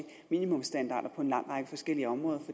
minimumsstandarder på en lang række forskellige områder